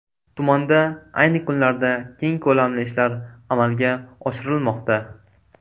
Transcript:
Tumanda ayni kunlarda keng ko‘lamli ishlar amalga oshirilmoqda.